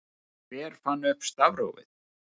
hver fann upp stafrófið